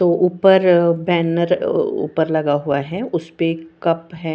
तो ऊपर बॅनर ऊपर लगा हुआ है उसपे कप है।